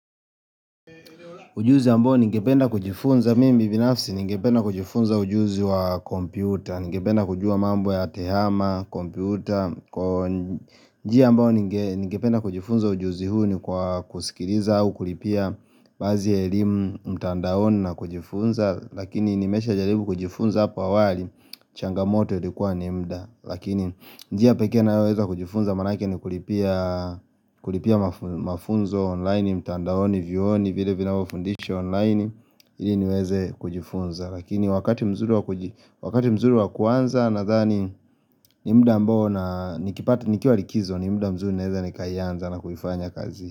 Ujuzi ambao ninge penda kujifunza, mimi binafsi ninge penda kujifunza ujuzi wa kompyuta Ninge penda kujua mambo ya tehama, kompyuta njia ambao ninge penda kujifunza ujuzi huu ni kwa kusikiriza au kulipia bazia elimu mtandaoni na kujifunza Lakini nimesha jaribu kujifunza hapa wali, changamoto ilikua ni mda Lakini njia peke nayoweza kujifunza manake ni kulipia kulipia mafunzo online mtandaoni vioni ni vinavyo fundisho online ili niweze kujifunza lakini wakati wa kuji wakati mzuri wakuanza na zani ni mda mbo na nikipati ni kia likizo ni mda mzuri naeza ni kayanza na kufanya kazi.